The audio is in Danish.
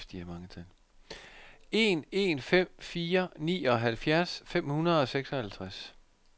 en en fem fire nioghalvfjerds fem hundrede og seksoghalvtreds